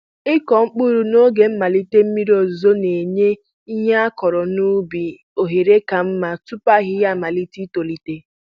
Ịkụ mkpụrụ n'oge mmalite mmiri ọzụzụ na-enye ihe akụrụ n'ubi ohere ka mma tupu ahịhịa amalite itolite.